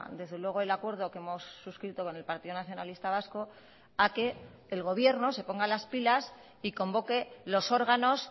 desde luego el acuerdo que hemos suscrito con el partido nacionalista vasco a que el gobierno se ponga las pilas y convoque los órganos